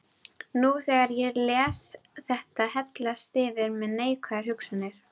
Nú þegar ég les þetta hellast yfir mig neikvæðar hugsanir.